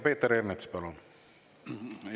Peeter Ernits, palun!